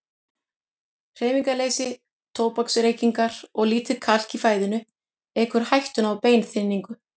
Hreyfingarleysi, tóbaksreykingar og lítið kalk í fæðunni eykur hættuna á beinþynningu.